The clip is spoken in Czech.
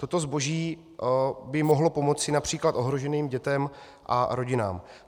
Toto zboží by mohlo pomoci například ohroženým dětem a rodinám.